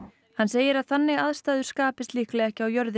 hann segir að þannig aðstæður skapist líklega ekki á jörðinni